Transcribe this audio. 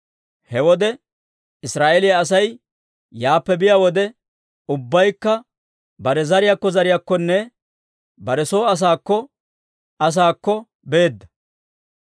He wode Israa'eeliyaa Asay yaappe biyaa wode, ubbaykka bare zariyaakko zariyaakkonne bare soo asaakko asaakko beedda.